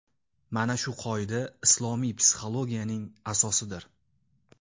Mana shu qoida islomiy psixologiyaning asosidir.